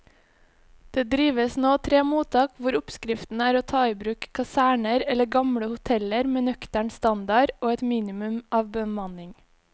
Det driver nå tre mottak hvor oppskriften er å ta i bruk kaserner eller gamle hoteller med nøktern standard og et minimum av bemanning.